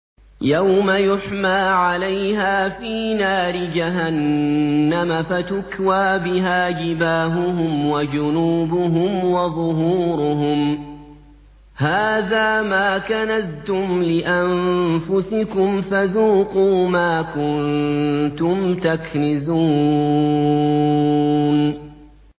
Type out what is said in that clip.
يَوْمَ يُحْمَىٰ عَلَيْهَا فِي نَارِ جَهَنَّمَ فَتُكْوَىٰ بِهَا جِبَاهُهُمْ وَجُنُوبُهُمْ وَظُهُورُهُمْ ۖ هَٰذَا مَا كَنَزْتُمْ لِأَنفُسِكُمْ فَذُوقُوا مَا كُنتُمْ تَكْنِزُونَ